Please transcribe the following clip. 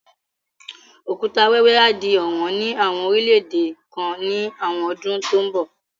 Òkúta wẹ́wẹ́ á di ọ̀wọ́n ní àwọn orílẹ̀ èdè kan ní àwọn ọdún tó ń bo